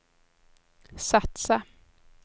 satsa